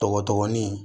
Dɔgɔdɔgɔnin